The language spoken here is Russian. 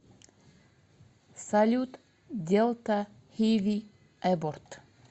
салют делта хиви эборт